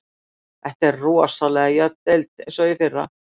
Þetta er rosalega jöfn deild eins og í fyrra.